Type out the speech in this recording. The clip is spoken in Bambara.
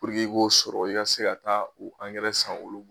Puruke i k'o sɔrɔ i' ka se ka taa u angɛrɛ san olu.